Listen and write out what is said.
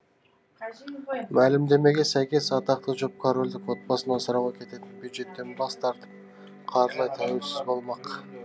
мәлімдемеге сәйкес атақты жұп корольдік отбасын асырауға кететін бюджеттен бас тартып қаржылай тәуелсіз болмақ